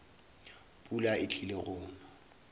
pula e tlile go na